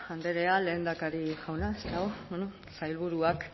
andrea lehendakari jauna sailburuak